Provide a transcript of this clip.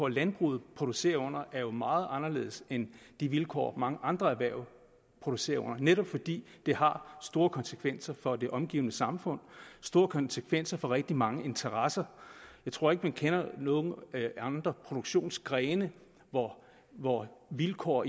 landbruget producerer under er meget anderledes end de vilkår mange andre erhverv producerer under netop fordi det har store konsekvenser for det omgivende samfund og store konsekvenser for rigtig mange interesser jeg tror ikke man kender nogen andre produktionsgrene hvor hvor vilkår